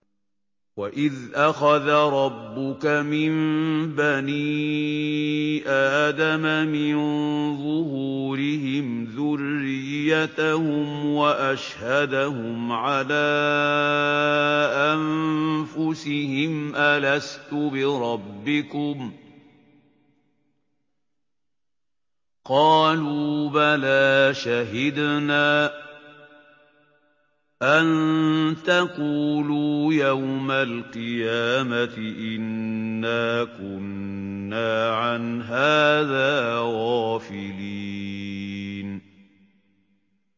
وَإِذْ أَخَذَ رَبُّكَ مِن بَنِي آدَمَ مِن ظُهُورِهِمْ ذُرِّيَّتَهُمْ وَأَشْهَدَهُمْ عَلَىٰ أَنفُسِهِمْ أَلَسْتُ بِرَبِّكُمْ ۖ قَالُوا بَلَىٰ ۛ شَهِدْنَا ۛ أَن تَقُولُوا يَوْمَ الْقِيَامَةِ إِنَّا كُنَّا عَنْ هَٰذَا غَافِلِينَ